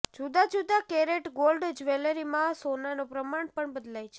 જુદા જુદા carat gold જ્વેલરીમાં સોનાનો પ્રમાણ પણ બદલાય છે